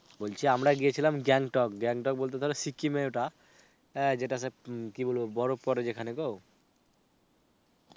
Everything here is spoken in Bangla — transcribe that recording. বলছি আমরা গেছিলাম গ্যাংটক. গ্যাংটক বলতে ধরো সিকিমে ওটা, হাঁ যেটাতে কি বলব বরফ পরে যেখানে গো